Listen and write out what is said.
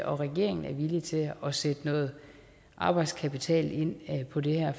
og regeringen er villige til at sætte noget arbejdskapital ind på det her